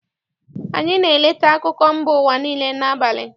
AnyỊ na-eleta akụkọ mba ụwa niile n'abalị.